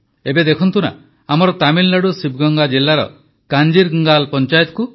ଏବେ ଦେଖନ୍ତୁ ନା ଆମର ତାମିଲନାଡୁ ଶିବଗଙ୍ଗା ଜିଲାର କାଞ୍ଜିରଙ୍ଗାଲ୍ ପଂଚାୟତକୁ